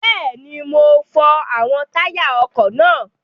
Bẹ́ẹ̀ni, mo fọ àwọn táyà ọkọ̀ náà.